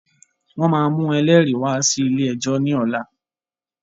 Wọn máa mú ẹlẹ́rìí wá sí ilé ẹjọ́ ni ọ̀la.